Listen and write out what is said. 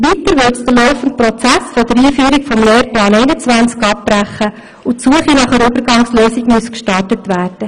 Weiter würde es den laufenden Prozess der Einführung des Lehrplans 21 abbrechen, und die Suche nach einer Übergangslösung müsste gestartet werden.